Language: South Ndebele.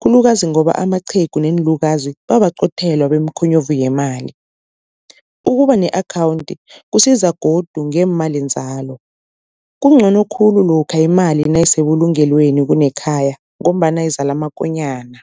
khulukazi ngoba amaqhegu neenlukazi bayabaqothela yemkhonyovu yemali. Ukuba ne-akhawunthi kusiza godu ngeemalinzalo, kuncono khulu lokha imali nayisebulungelweni kunekhaya ngombana izala amakonyana.